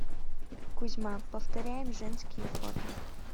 кузьма повторяем женские фото